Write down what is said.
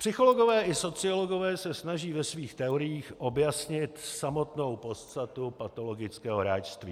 Psychologové i sociologové se snaží ve svých teoriích objasnit samotnou podstatu patologického hráčství.